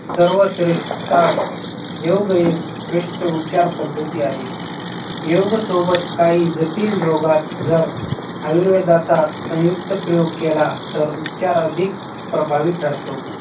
सर्वश्रेष्ठ योगेश श्रेष्ठ उपचार पद्धती आहे. योग सोबत काही जटिल रोगात जर आयुर्वेदाचा संयुक्त प्रयोग केला तर उपचार अधिक प्रभावी ठरतो.